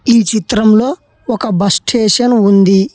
ఈ చిత్రంలో ఒక బస్ స్టేషన్ ఉంది.